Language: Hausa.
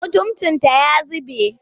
Mutuncinta ya zube.